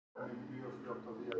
Hálka á vegum landsins